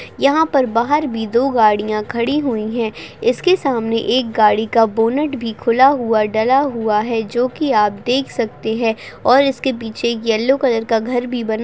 यहाँ पर बाहर भी दो गाड़ियाँ खड़ी हुई है इसके सामने एक गाड़ी का बोनेट भी खुला हुआ डला हुआ है। जो की आप देख सकते है और इसके पीछे एक येल्लो कलर का घर भी बना--